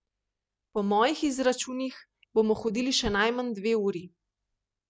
Po mojih izračunih bomo hodili še najmanj dve uri.